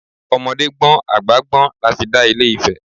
Ọmọdé gbọ́n, àgbà gbọ́n lafi dà ilé Ifẹ̀.